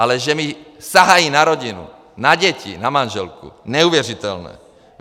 Ale že mi sahají na rodinu, na děti, na manželku - neuvěřitelné!